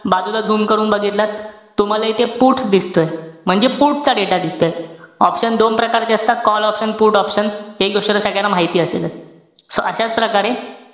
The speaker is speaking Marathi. बाजूला zoom करून बघितलात, तुम्हाला इथे put दिसतोय. म्हणजे put चा data दिसतोय. option दोन प्रकारचे असतात, call option put option. हे गोष्ट सगळ्यांना माहिती असेलच. So प्रकारे,